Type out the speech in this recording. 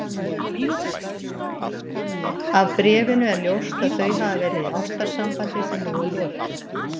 Af bréfinu er ljóst að þau hafa verið í ástarsambandi sem nú er lokið.